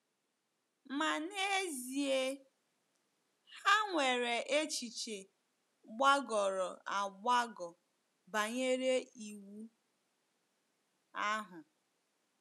Ma n’ezie, ha nwere echiche gbagọrọ agbagọ banyere Iwu ahụ.